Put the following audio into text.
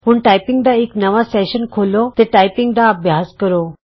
ਹੁਣ ਟਾਈਪਿੰਗ ਦਾ ਇਕ ਨਵਾਂ ਸੈਸ਼ਨ ਖੋਲ੍ਹੋ ਤੇ ਟਾਈਪਿੰਗ ਦਾ ਅਭਿਆਸ ਕਰੋ